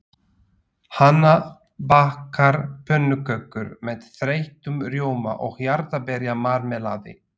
Hanna bakar pönnukökur með þeyttum rjóma og jarðarberjamarmelaði.